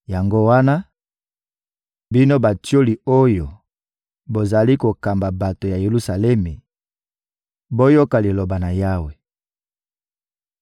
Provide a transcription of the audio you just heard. Yango wana, bino batioli oyo bozali kokamba bato ya Yelusalemi, boyoka Liloba na Yawe!